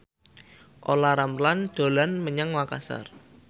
Olla Ramlan dolan menyang Makasar